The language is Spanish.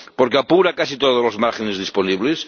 porque apura casi todos los márgenes disponibles